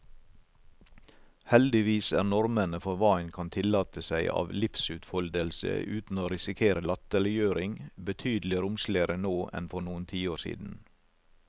Heldigvis er normene for hva en kan tillate seg av livsutfoldelse uten å risikere latterliggjøring, betydelig romsligere nå enn for noen tiår siden.